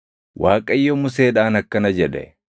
Waaqayyo Museedhaan akkana jedhe;